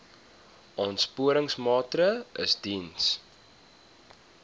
aansporingsmaatre ls diens